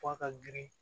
F'a ka girin